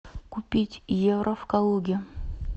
купить евро в калуге